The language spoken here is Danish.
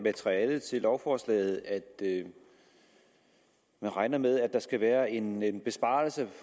materialet til lovforslaget at man regner med at der skal være en en besparelse